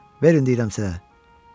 Verin deyirəm sizə.